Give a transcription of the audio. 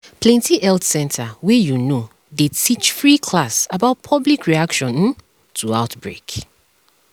plenty health center wey you know dey teach free class about public reaction um to outbreak